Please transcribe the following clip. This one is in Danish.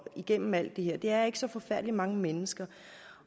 igennem alt det her det er ikke så forfærdelig mange mennesker